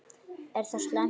Er það slæmt?